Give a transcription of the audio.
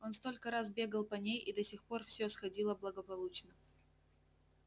он столько раз бегал по ней и до сих пор все сходило благополучно